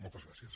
moltes gràcies